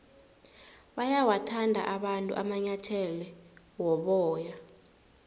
bayawathanda abantu amanyathele woboya